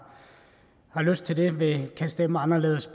lyst til det kan stemme anderledes